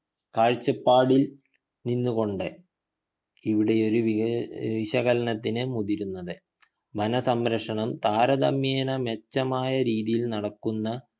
കാഴ്ചപ്പാടിൽ നിന്ന് കൊണ്ട് ഇവിടെയൊരു ഏർ വിശകലനത്തിന് മുതിരുന്നത് വന സംരക്ഷണം താരതമ്യേനെ മെച്ചമായ രീതിയിൽ നടക്കുന്ന